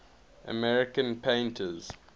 american painters